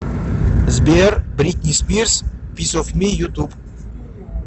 сбер бритни спирс пис оф ми ютуб